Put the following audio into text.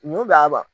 Mun bɛ a ba